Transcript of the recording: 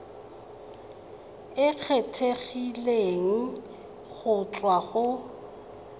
e kgethegileng go tswa go